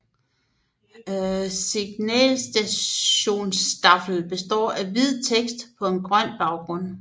Signalisationstafeln består af hvid tekst på en grøn baggrund